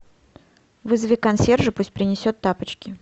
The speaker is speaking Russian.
вызови консьержа пусть принесет тапочки